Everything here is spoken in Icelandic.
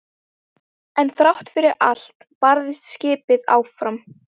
En þrátt fyrir allt barðist skipið áfram.